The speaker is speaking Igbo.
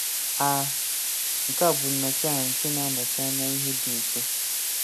A nke a bụ nnọchiaha nke na-anọchi anya ihe dị nso